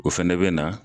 O fɛnɛ bɛ na